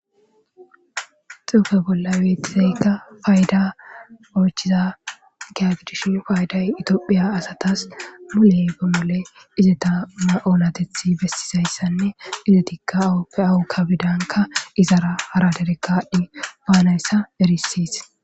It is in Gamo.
Xuufe bolla weetizaykka fayda oychiza giyagdish fayday itoophiya asatas mule bemole izeta ma7olatethi bessizayssanne izetikka awuppe awu kabidanka izara hara derekadhdhi baanayssa erisis